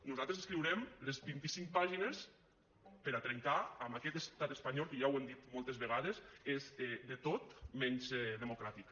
nosaltres escriurem les vint i cinc pàgines per a trencar amb aquest estat espanyol que ja ho hem dit moltes vegades és de tot menys democràtic